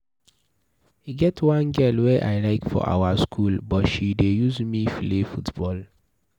E get one girl wey I like for our school but she dey use me play football.